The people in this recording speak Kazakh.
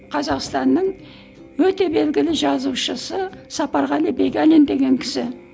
қазақстанның өте белгілі жазушысы сапарғали бегалин деген кісі